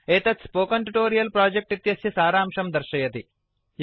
एतत् spoken tutorial project इत्यस्य सारांशं दर्शयति